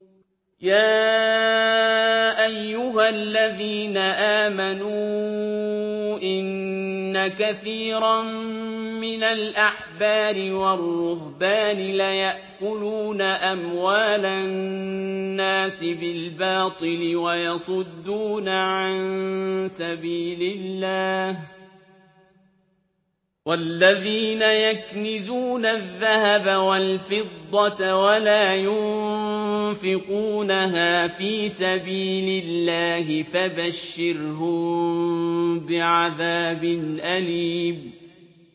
۞ يَا أَيُّهَا الَّذِينَ آمَنُوا إِنَّ كَثِيرًا مِّنَ الْأَحْبَارِ وَالرُّهْبَانِ لَيَأْكُلُونَ أَمْوَالَ النَّاسِ بِالْبَاطِلِ وَيَصُدُّونَ عَن سَبِيلِ اللَّهِ ۗ وَالَّذِينَ يَكْنِزُونَ الذَّهَبَ وَالْفِضَّةَ وَلَا يُنفِقُونَهَا فِي سَبِيلِ اللَّهِ فَبَشِّرْهُم بِعَذَابٍ أَلِيمٍ